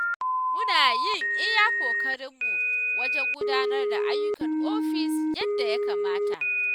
Muna yin iya ƙoƙarinmu wajen gudanar da ayyukan ofis yadda ya kamata.